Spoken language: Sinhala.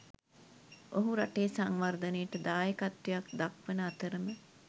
ඔහු රටේ සංවර්ධනයට දායකත්වයක් දක්වන අතරම